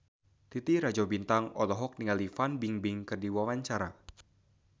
Titi Rajo Bintang olohok ningali Fan Bingbing keur diwawancara